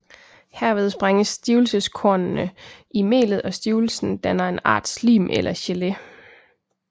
Herved sprænges stivelseskornene i melet og stivelsen danner en art slim eller gelé